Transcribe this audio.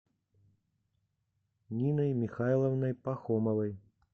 ниной михайловной пахомовой